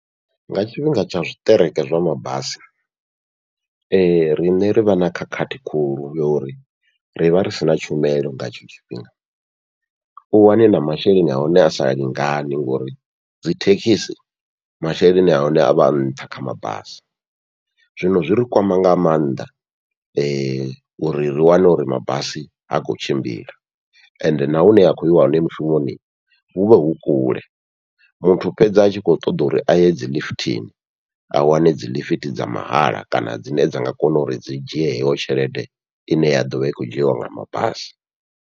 Nga tshifhinga tsha zwiṱereke zwa mabasi, riṋe rivha na khakhathi khulu yo uri rivha ri sina tshumelo nga hetsho tshifhinga, u wane na masheleni ahone asa lingani ngori dzithekisi masheleni ahone avha a nṱha kha mabasi, zwino zwi ri kwama nga maanḓa uri ri wane uri mabasi ha khou tshimbila. Ende na hune ha khou yiwa hone mushumoni huvha hu kule, muthu fhedza a tshi kho ṱoḓa uri aye dzi ḽifithini a wane dzi ḽifithi dza mahala kana dzine dza nga kona uri dzi dzhie heyo tshelede ine ya ḓovha i khou dzhiiwa nga mabasi.